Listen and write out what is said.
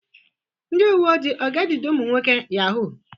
Ndị uwe ojii ọ ga-ejide ụmụ nwoke Yahoo?